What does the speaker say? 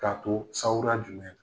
K'a too sawura jumɛn na?